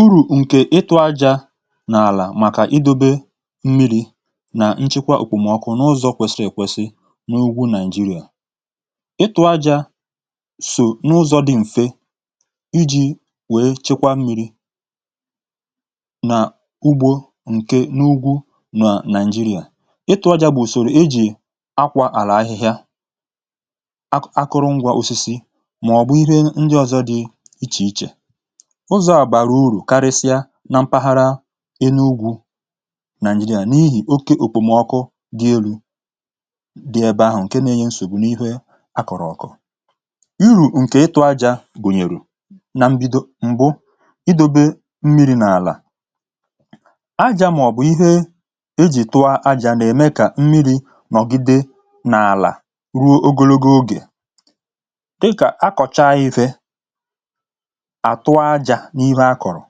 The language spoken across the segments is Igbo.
uru̇ ǹkè ịtụ̇ ajȧ n’àlà màkà idȯbe mmi̇ri̇ nà nchekwa òkwùmọkụ n’ụzọ̇ kwesi̇ri̇ èkwesi n’ugwu nigeria ịtụ̇ ajȧ sò n’ụzọ̇ dị̇ m̀fe iji̇ wèe chikwa mmi̇ri̇ nà ugbȯ ǹkè n’ugwu nà nigeria ịtụ̇ ajȧ bụ̀ ùsòrò ijì akwȧ àlà ahịhịa akụrụngwȧ òsisi màọ̀bụ̀ ihe ndị ọ̀zọ dị ichè ichè ụzọ̀ àgbàrà urù karịsịa na mpaghara ịnugwu naịjirịa n’ihi oke òkpòmọkụ gị elu̇ dị ebe ahụ̀ ǹke nȧ-ėnyė nsògbu n’ihe a kọ̀rọ̀ ọkụ iru̇ ǹkè ịtụ̇ aja bùnyèrù na mbido m̀gbu idȯbe mmi̇ri̇ n’àlà aja mọ̀bụ̀ ihe e jì tụọ aja nà-ème kà mmiri̇ nọ̀gide n’àlà ruo ogologo ogè dịkà akọ̀chaive n’ihè akọ̀rọ̀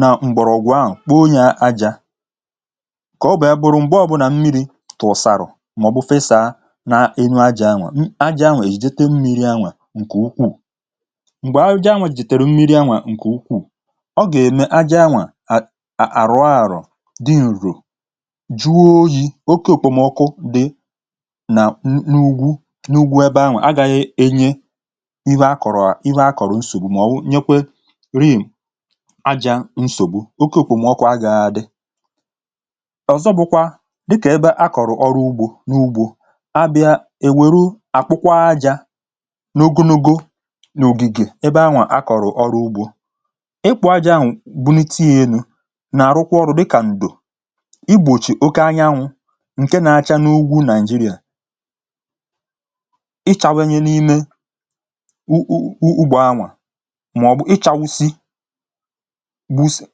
nà m̀gbọ̀rọ̀gwụ̀ ahụ̀ kpo nyé á já ké ọ bụ̇ á bụ̇rụ̇ m̀gbọ̇ ọ̇bụ̇nà mmiri̇ tụ̀ụ̀sàrụ̀ màọ̀bụ̀ fesȧ na nyu ajȧ anwà ajȧ anwà è jite mmiri̇ anwà ǹkè ukwù m̀gbè arụjọ anwà è jètèrè mmiri̇ anwà ǹkè ukwù ọ gà-ème ajȧ anwà à àrụ àrụ jì àrụ ju̇ ju̇ ju̇ ju̇ ju̇ ju̇ ju̇ ju̇ ju̇ ju̇ ju̇ oke òkè òmòkụ dị nà nù ùgwù nùgwù ebe anwà a gà-enye ihe akọ̀rọ̀ ihe akọ̀rọ̀ nsò nyekwerim̀ aja nsògbu oke kwà mụọkụ̀ agȧhȧ dị ọ̀zọ bụ̀kwà dịkà ebe akọ̀rọ̀ ọrụ ugbȯ n’ugbȯ abịa èwèru àkpụkwa ajȧ n’ogunugȯ n’ògìgè ebe ahụ̀ akọ̀rọ̀ ọrụ ugbȯ ịkwụ̇ aja ahụ̀ bụnịte yȧ elu nà-àrụkwa ọrụ dịkà ǹdò i gbòchì oke anyanwụ̇ ǹke na-acha n’ugwȯ nàịjirịà ịchawenye n’ime ugbo ahụ̀ màọ̀bụ̀ ịchȧ wusị bu isi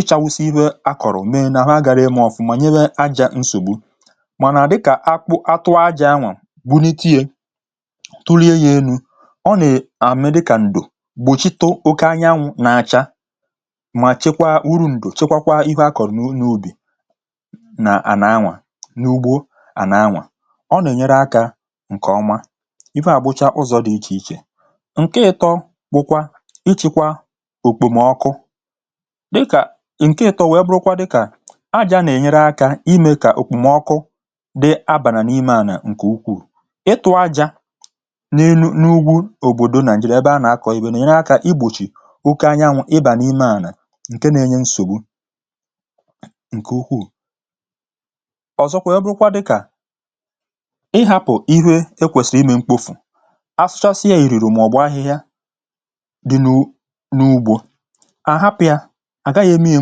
ịchȧ wusị ihe akọ̀rọ̀ mee n’àhụ agȧghị ịmȧ ọfụ̀ mà nyere ajȧ nsògbu mànà dịkà akpụ atụ ajȧ anwà bụ n’iti yė tụlie yȧ elu̇ ọ nè àmè dịkà ǹdò gbòchito oke anyanwụ̇ na-acha mà chekwa uru ǹdò chekwa kwa ihe akọ̀rọ̀ n’ubì nà à nà anwà n’ugbo à nà anwà ọ nè nyere akȧ ǹkè ọma ife à gbochaa ụzọ̇ dị̀ ichè ichè ǹke ịtọ bụkwa ịchịkwa òkpòmọkụ dịkà ǹke ịtọ nwèe bụrụkwa dịkà aja nà-ènyere akȧ imė kà òkpòmọkụ dị abà na n’ime ànà ǹkè ukwù ịtụ̇ aja n’ịnụ̇ n’ugwu òbòdò nà ǹjìdebe a nà-akọ̀ ibè nà-ènyere akȧ igbòchì oke anya ǹwò ịbà n’ime ànà ǹke nȧ-ėnyė nsògbu ǹkè ukwù ọ̀zọkwa nwèe bụrụkwa dịkà ịhȧpụ̀ ihu ekwèsì imè mkpofù à hapụ ya à gaghị̇ emi ya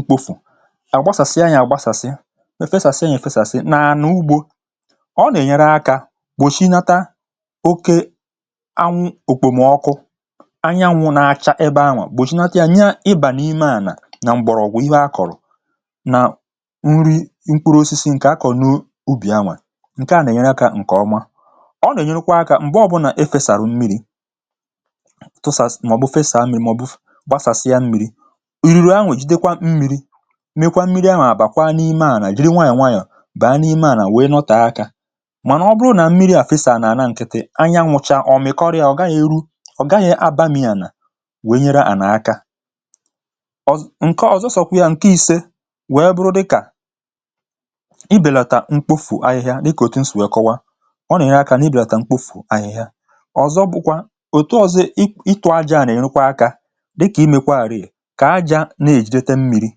mkpofù à gbasàsịa ya à gbasàsịa efesàsịa nà efesàsịa nà à n’ugbȯ ọ nà ènyere akȧ gbòchie nata oke anwụ̇ òkpòmọkụ anyi anwụ̇ na-acha ebe anwà gbòchie nata ya nye ịbà n’ime ànà na m̀bọ̀rọ̀ ọ̀gwụ̀ ihe akọ̀rọ̀ na nri mkpụrụ osisi ǹkè akọ̀ n’ubì anwà ǹke à nà ènyere akȧ ǹkè ọma ọ nà ènyerụkwa akȧ m̀gbe ọbụnà e fèsàrà m̀miri gbasàsị ya mmiri̇ riri anwèjidekwa mmiri̇ mekwa mmiri a màbàkwa n’ime à nà jiri nwayọ̀ nwayọ̀ bụ̀ a n’ime à nà wee nọtà ha akȧ mànà ọ bụrụ nà mmiri à fesàrà n’àna ǹkịtị̀ anya nwụcha ọ mị̀kọrị à ọ gaghị̇ eru ọ̀ gaghị̇ abȧ mìi ànà wee nyere à nà akȧ ọ̀zọ ǹke ọ̀zọ sọ̀kwà ya ǹke ìse wee bụrụ dịkà ibèlàtà mkpofù ahịhịa dịkà òtù m sì wee kọwa ọ nà ibèlàtà mkpofù ahịhịa ọ̀zọ bụ̀kwa òtù ọ̀zọ ọ̀zọ ịtụ ajȧ à nà ènukwa akȧ dịkà imekwà rìrì kà àjà nà-èjidetė mmiri̇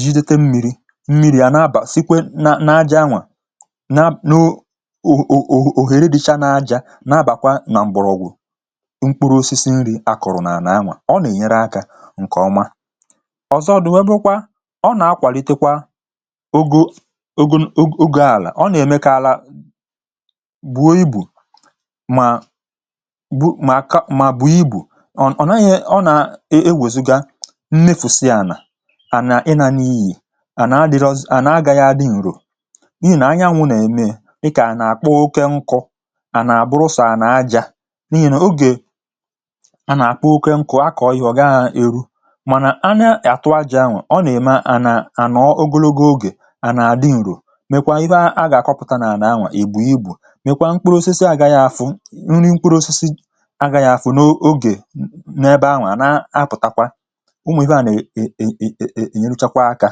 jidete mmiri̇ mmiri̇ à nà-abà sikwe nà nàjà nwà na noo ò ò ò ohere dịcha nàjà nà abàkwa nà mbọrọ̇gwụ̇ mkpụrụ osisi nri̇ akọ̀rọ̀ nà ànà nwa ọ nà-ènyere akȧ ǹkè ọma ọ̀zọ dị̀ nwebụkwa ọ nà-akwàlitekwa ogȯ ogȯ alà ọ nà-ème kà àlà gbuo ibù mà nnefùsị ànà ànà ị nȧ n’iyì ànà adịrọ ànà agȧghị̇ adị̇ ǹrò n’ihì nà anyanwụ̇ nà-ème ịkà à nà-àkpọ oke nkọ̇ ànà abụrụ sọ̀ ànà aja n’ihì nà ogè à nà-àkpọ oke nkọ̇ a kọ̀ọ ihe ọ̀ gaa eru mànà a na-àtụ aja ahụ̀ ọ nà-ème ànà ànọ ogologo ogè ànà adị ǹrò mèkwa ịbà a gà-àkọpụta nà ànà ahụ̀ ègbù igbò mèkwa mkpụrụ osisi àgaghị̇ àfụ nri mkpụrụ osisi ó nwè ebe à nà-ènyelụchakwa akȧ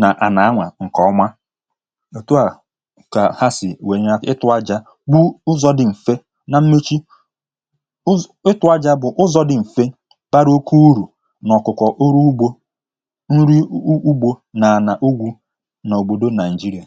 nà à nà-anwà ǹkè ọma òtù a kà ha sì nwèrè ya itụ̇ aja bụ ụzọ̇ dị m̀fe na mmechi ụ zụ̀ itu̇ aja bụ̀ ụzọ̇ dị m̀fe bara oke urù n’ọ̀kụkọ oru ugbȯ nri ugbo nà-ànà ugwù n’òbòdo nigeria